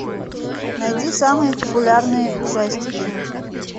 найди самые популярные ужастики